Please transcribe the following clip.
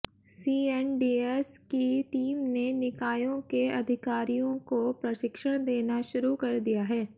CNDS की team ने निकायों के अधिकारियों को प्रशिक्षण देना शुरू कर दिया है